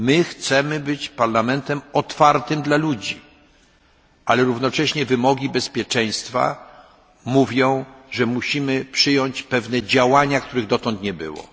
Chcemy być Parlamentem otwartym dla ludzi, ale równocześnie wymogi bezpieczeństwa mówią, że musimy przyjąć pewne działania, których dotąd nie było.